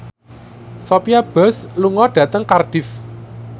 Sophia Bush lunga dhateng Cardiff